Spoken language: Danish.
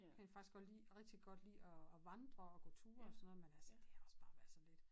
Kan rent faktisk godt lide rigtigt godt lide at at vandre og gå ture og sådan noget men altså det er også bare være sådan lidt